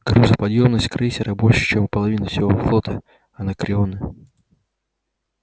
грузоподъёмность крейсера больше чем у половины всего флота анакреона